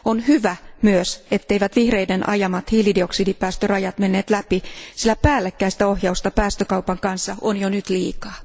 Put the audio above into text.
On myös hyvä, etteivät vihreiden ajamat hiilidioksidipäästörajat menneet läpi, sillä päällekkäistä ohjausta päästökaupan kanssa on jo nyt liikaa.